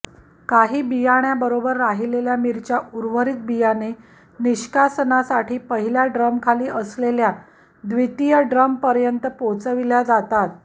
काही बियाण्याबरोबर राहिलेल्या मिरच्या उर्वरित बियाणे निष्कासनासाठी पहिल्या ड्रमखाली असलेल्या द्वितीय ड्रमपर्यंत पोचविल्या जातात